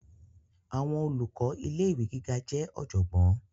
Àwọn olùkọ ilé ìwé gíga jẹ ọjọgbọn.